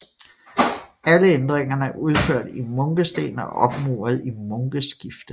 Alle ændringerne er udført i munkesten og opmuret i munkeskifte